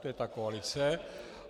To je ta koalice.